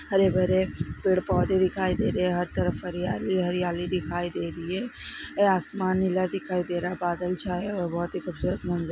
हरे-भरे पेड़-पौधे दिखाई दे रहे है हर तरफ हरियाली ही हरियाली दिखाई दे रही है ए आसमान नीला दिखाई दे रहा है बादल छाए है और बहुत ही खुबसूरत मंज़ --